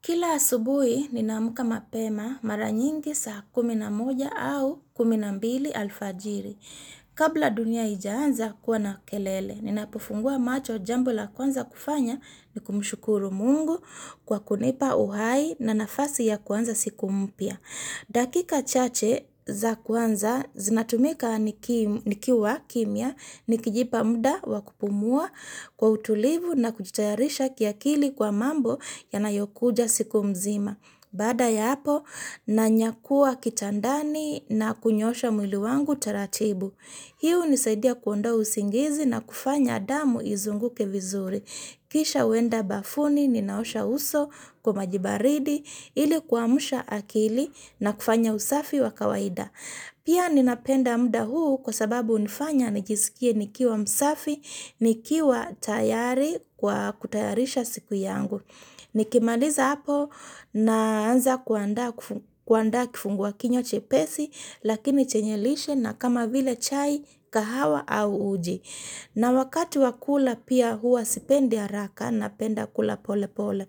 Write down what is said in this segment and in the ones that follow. Kila asubuhi ninaamka mapema mara nyingi saa kumi na moja au kumi na mbili alfajiri. Kabla dunia haijaanza kuwa na kelele, ninapufungua macho jambo la kwanza kufanya ni kumshukuru mungu kwa kunipa uhai na nafasi ya kuanza siku mpya. Dakika chache za kwanza zinatumika nikiwa kimya nikijipa muda wa kupumua kwa utulivu na kujitayarisha kiakili kwa mambo yanayokuja siku mzima. Baada ya hapo nanyakua kitandani na kunyosha mwili wangu taratibu. Hii hunisaidia kuonda usingizi na kufanya damu izunguke vizuri. Kisha huenda bafuni, ninaosha uso kwa maji baridi, ili kuamsha akili na kufanya usafi wa kawaida. Pia ninapenda muda huu kwa sababu hunifanya nijisikie nikiwa msafi, nikiwa tayari kwa kutayarisha siku yangu. Nikimaliza hapo naanza kuandaa kifungua kinywa chepesi, lakini chenye lishe na kama vile chai kahawa au uji. Na wakati wa kula pia hua sipendi haraka napenda kula pole pole.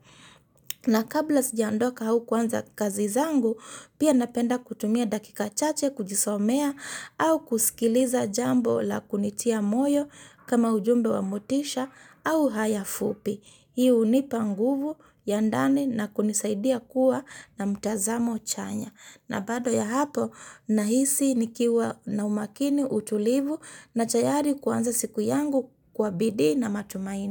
Na kabla sijaondoka au kuanza kazi zangu pia napenda kutumia dakika chache kujisomea au kusikiliza jambo la kunitia moyo kama ujumbe wa motisha au haya fupi. Hii hunipa nguvu ya ndani na kunisaidia kuwa na mtazamo chanya. Na baada ya hapo nahisi nikiwa na umakini utulivu na tayari kuanza siku yangu kwa bidii na matumaini.